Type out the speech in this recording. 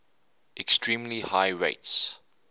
extremely high rates